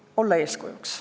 Tuleb olla eeskujuks.